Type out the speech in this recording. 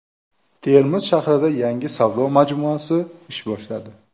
Termiz shahrida yangi savdo majmuasi ish boshladi.